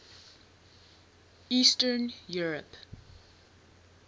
eastern europe